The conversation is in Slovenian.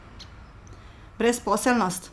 Brezposelnost?